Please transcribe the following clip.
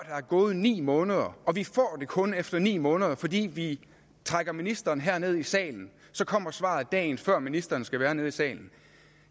er gået ni måneder og vi får det kun efter ni måneder fordi vi trækker ministeren herned i salen så kommer svaret dagen før ministeren skal være nede i salen